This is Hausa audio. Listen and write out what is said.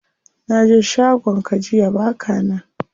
Naje shagon ka jiya baka nan.